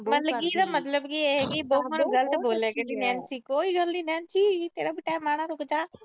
ਮੰਨ ਗਈ ਨਾ ਇਹ ਇਹਦਾ ਮਤਲਬ ਕੀ ਐ ਬਹੂ ਨਾਲ ਗਲਤ ਬੋਲਿਆ। ਕੋਈ ਗੱਲ ਨੀ ਨੈਨਸੀ, ਤੇਰਾ ਵੀ ਟਾਈਮ ਆਉਣਾ, ਤੂੰ ਬਚਾ